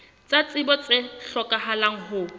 tsa tsebo tse hlokahalang ho